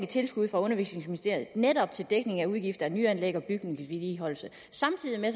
tilskud fra undervisningsministeriet netop til dækning af udgifter til nyanlæg og bygningsvedligeholdelse samtidig